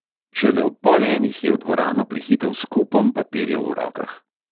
Šele ob pol enih je v dvorano prihitel s kupom papirjev v rokah.